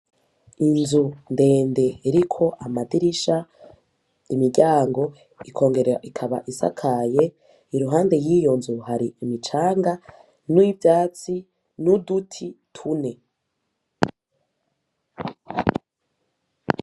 inzu ndende iriko amadirisha , imiryango ikongera ikaba isakaye, iruhande yiyonzu hari imicanga n'ivyatsi nuduti tune.